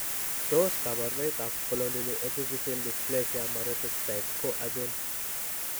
Tos kabarunoik ab Spondyloepiphyseal dysplasia Maroteaux type ko achon?